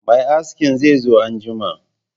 Mai askin zai zo anjima